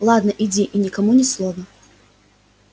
ладно иди и никому ни слова